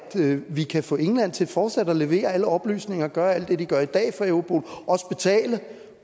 vi kan få england til fortsat at levere alle oplysninger og gøre alt det de gør i dag for europol også betale